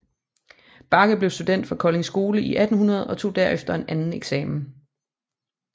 Bagge blev student fra Kolding Skole i 1800 og tog herefter anden eksamen